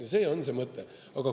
Ja see on see mõte.